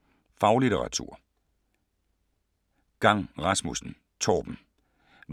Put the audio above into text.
Faglitteratur